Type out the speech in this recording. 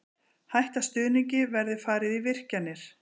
Hætta stuðningi verði farið í virkjanir